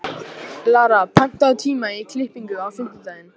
Lara, pantaðu tíma í klippingu á fimmtudaginn.